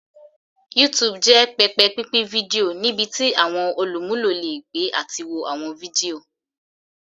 YouTube jẹ pẹpẹ pinpin fidio nibiti awọn olumulo le gbe ati wo awọn fidio.